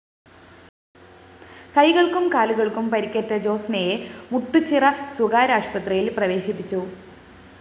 കൈകള്‍ക്കും കാലുകള്‍ക്കും പരിക്കേറ്റ ജോസ്‌നയെ മുട്ടുചിറ സ്വകാര്യ അശുപത്രിയില്‍ പ്രവേശിപ്പിച്ചു